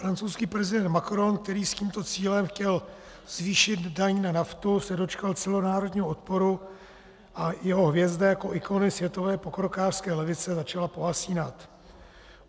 Francouzský prezident Macron, který s tímto cílem chtěl zvýšit daň na naftu, se dočkal celonárodního odporu a jeho hvězda jako ikony světové pokrokářské levice začala pohasínat.